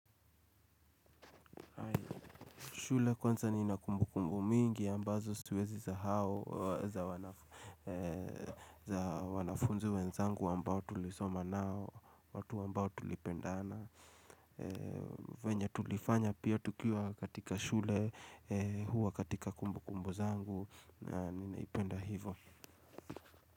Shule kwanza ni na kumbu kumbu mingi ambazo siwezi sahau za wanafunzi wenzangu ambao tulisoma nao watu ambao tulipendana venye tulifanya pia tukiwa katika shule huwa katika kumbu kumbu zangu na ninaipenda hivo.